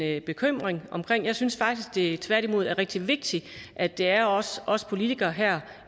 en bekymring omkring jeg synes faktisk at det tværtimod er rigtig vigtigt at det er os os politikere her